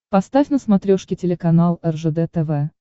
поставь на смотрешке телеканал ржд тв